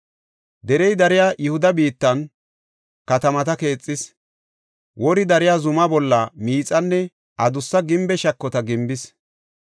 Derey dariya Yihuda biittan katamata keexis; wori dariya zumaa bolla miixanne adussa gimbe shakota gimbis.